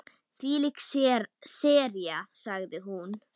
Þvílík sería sagði hún.